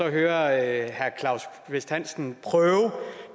hører herre claus kvist hansen prøve